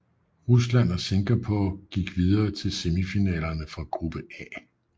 Rusland og Singapore gik videre til semifinalerne fra gruppe A